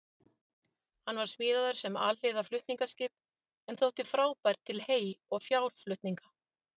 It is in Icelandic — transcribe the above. Hann var smíðaður sem alhliða flutningaskip en þótti frábær til hey- og fjárflutninga.